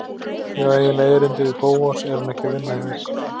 Ég á eiginlega erindi við Bóas, er hann ekki að vinna hjá ykkur?